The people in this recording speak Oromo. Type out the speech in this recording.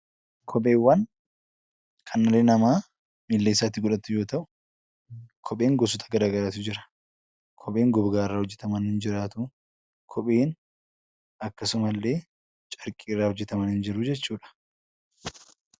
Kopheewwan kan dhalli namaa miilla isaatti godhatu yoo ta'u, kopheen gosoota garaagaraatu jira. Kopheen gogaa irraa hojjetaman ni jiraatu; kopheen akkasuma illee carqii irraa hojjetaman ni jiru jechuu dha.